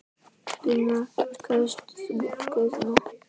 Gunnar: Kaust þú Guðna?